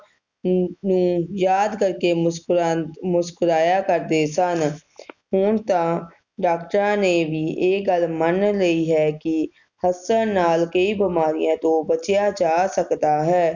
ਫੁੱਲ ਨੂੰ ਯਾਦ ਕਰਕੇ ਮੁਸਕੁਰਾਨ ਮੁਸਕੁਰਾਇਆ ਕਰਦੇ ਸਨ ਹੁਣ ਤਾ ਡਾਕਟਰਾਂ ਨੇ ਵੀ ਇਹ ਗੱਲ ਮੰਨ ਲਈ ਹੈ ਕਿ ਹੱਸਣ ਨਾਲ ਕਈ ਬਿਮਾਰੀਆਂ ਤੋਂ ਬਚਿਆ ਜਾ ਸਕਦਾ ਹੈ